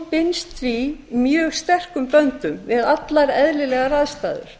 binst því mjög sterkum böndum við allar eðlilegar aðstæður